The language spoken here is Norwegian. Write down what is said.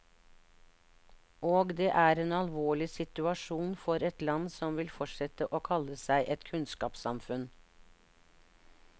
Og det er en alvorlig situasjon for et land som vil fortsette å kalle seg et kunnskapssamfunn.